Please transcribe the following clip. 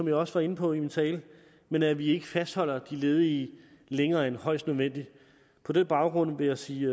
jeg også var inde på i min tale men at vi ikke fastholder de ledige længere end højst nødvendigt på den baggrund vil jeg sige